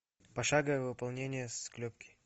пошаговое выполнение склепки